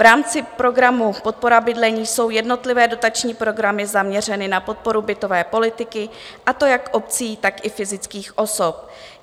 V rámci programu Podpora bydlení jsou jednotlivé dotační programy zaměřeny na podporu bytové politiky, a to jak obcí, tak i fyzických osob.